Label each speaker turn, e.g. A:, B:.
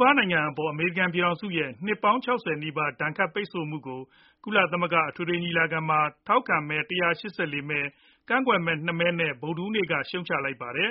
A: ဘားနိုင်ငံအပေါ် အမေရိကန်ပြည်ထောင်စုရဲ့နှစ်ပေါင်း ၆၀ နီးပါ ဒဏ်ခတ်ပိတ်ဆို့မှုကို ကုလအထွေထွေညီလာခံမှာ ထောက်ခံမဲ ၁၈၄ ကန့်ကွက်မဲ ၂ မဲ နဲ့ ဗုဒ္ဓဟူးနေ့က ရှုတ်ချလိုက်ပါတယ်